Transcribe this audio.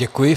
Děkuji.